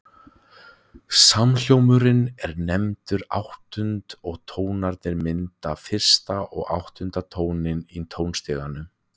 Samhljómurinn er nefndur áttund og tónarnir mynda fyrsta og áttunda tóninn í tónstiganum.